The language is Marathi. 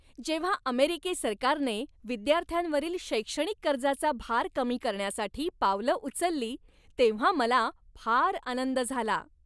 जेव्हा अमेरिकी सरकारने विद्यार्थ्यांवरील शैक्षणिक कर्जाचा भार कमी करण्यासाठी पावलं उचलली तेव्हा मला फार आनंद झाला.